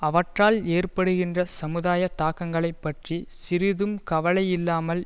அவற்றால் ஏற்படுகின்ற சமுதாய தாக்கங்களைப் பற்றி சிறிதும் கவலையில்லாமல்